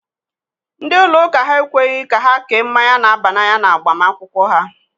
Ndị ụlọ ụka ha ekweghị ka ha kee mmanya na-aba n'anya na agbamakwụkwọ ha.